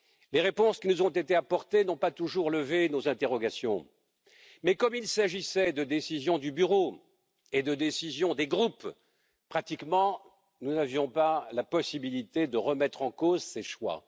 Les réponses qui nous ont été apportées n'ont pas toujours levé nos interrogations, mais comme il s'agissait de décisions du Bureau et de décisions des groupes, nous n'avions pratiquement pas la possibilité de remettre en cause ces choix.